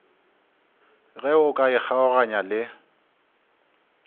ge o ka ikgaoganya le